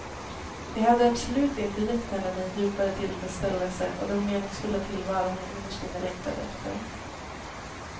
Det hade absolut inte gett henne den djupare tillfredsställelse och den meningsfulla tillvaro hon innerst inne längtade efter.